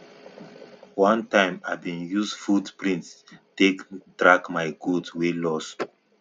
one time i bin use foot print take track my goat wey lost